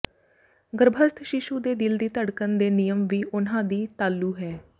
ਗਰੱਭਸਥ ਸ਼ੀਸ਼ੂ ਦੇ ਦਿਲ ਦੀ ਧੜਕਣ ਦੇ ਨਿਯਮ ਵੀ ਉਨ੍ਹਾਂ ਦੀ ਤਾਲੂ ਹੈ